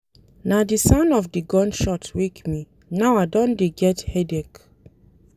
Na di sound of di gun shot wake me, now I don dey get headache.